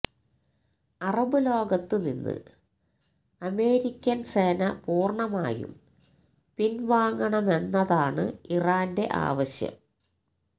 Arab ലോകത്ത് നിന്ന് American സേന പൂര്ണ്ണമായും പിന്വാങ്ങണമെന്നതാണ് ഇറാന്റെ ആവശ്യം